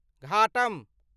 ghatam